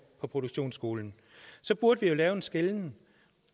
på produktionsskolen så burde vi jo lave en skelnen